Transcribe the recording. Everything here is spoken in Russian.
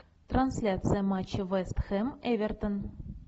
трансляция матча вест хэм эвертон